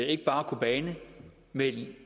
ikke bare kobane men i det